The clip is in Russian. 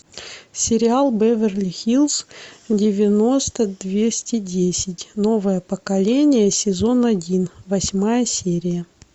сериал беверли хиллз девяносто двести десять новое поколение сезон один восьмая серия